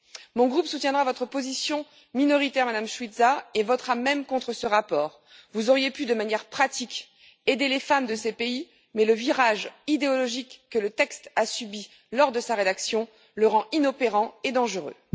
Mon groupe soutiendra votre position minoritaire, Mme Šuica, et votera même contre ce rapport. Vous auriez pu aider de manière pratique les femmes de ces pays, mais le virage idéologique que le texte a subi lors de sa rédaction le rend inopérant et dangereux.